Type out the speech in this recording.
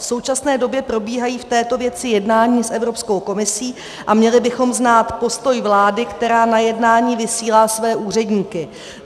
V současné době probíhají v této věci jednání s Evropskou komisí a měli bychom znát postoj vlády, která na jednání vysílá své úředníky.